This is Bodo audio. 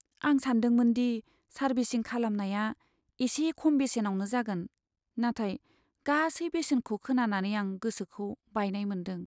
आं सानदोंमोन दि सार्भिसिं खालामनाया एसे खम बेसेनावनो जागोन, नाथाय गासै बेसेनखौ खोनानानै आं गोसोखौ बायनाय मोन्दों।